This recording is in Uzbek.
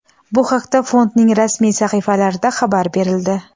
Bu haqda fondning rasmiy sahifalarida xabar berildi.